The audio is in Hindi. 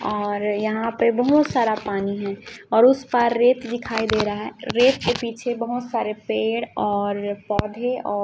और यहां पे बहोत सारा पानी है और उसे पार रेत दिखाई दे रहा है रेत के पीछे बहोत सारे पेड़ और पौधे औ--